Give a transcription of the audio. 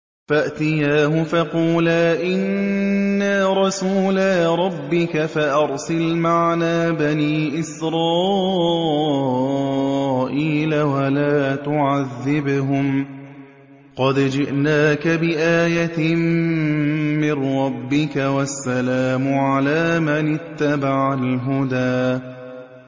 فَأْتِيَاهُ فَقُولَا إِنَّا رَسُولَا رَبِّكَ فَأَرْسِلْ مَعَنَا بَنِي إِسْرَائِيلَ وَلَا تُعَذِّبْهُمْ ۖ قَدْ جِئْنَاكَ بِآيَةٍ مِّن رَّبِّكَ ۖ وَالسَّلَامُ عَلَىٰ مَنِ اتَّبَعَ الْهُدَىٰ